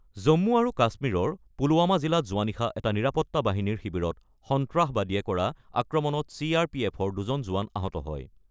জম্মু আৰু কাশ্মীৰৰ পুলৱামা জিলাত যোৱা নিশা এটা নিৰাপত্তা বাহিনীৰ শিবিৰত সন্ত্ৰাসবাদীয়ে কৰা আক্ৰমণত চি আৰ পি এফৰ দুজন জোৱান আহত হয়।